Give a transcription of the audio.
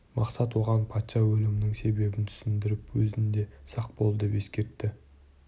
мақсат оған патша өлімінің себебін түсіндіріп өзің де сақ бол деп ескертті